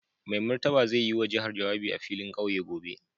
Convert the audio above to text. Mai Martaba zai yi wa jihar jawabi a filin kauye gobe.